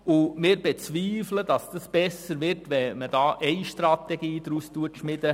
Wir bezweifeln, dass es besser wird, wenn man daraus eine Gesamtstrategie schmiedet.